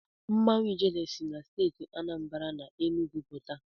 Mmanwụ Ijele si na Steeti Anambara na Enugwu pụta.